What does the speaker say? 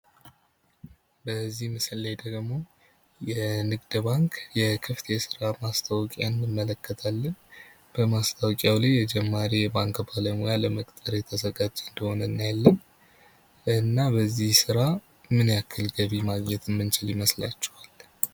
በዚህ ምስል ላይ ደግሞ የንግድ ባንክ የክፍት የሥራ ማስታወቂያ እንመለከታለን በማስታወቂያው ላይ የጀማሪ የባንክ ባለሙያ ለመቅጠር የተዘጋጀ እንደሆነ እናያለን። እና በዚህ ስራ ምን ያክል ገቢ ማግኘት ምንችል ይመስላችኋል?